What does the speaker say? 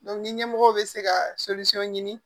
ni ɲɛmɔgɔ bɛ se ka ɲini